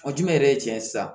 O jumɛn yɛrɛ ye tiɲɛ ye sisan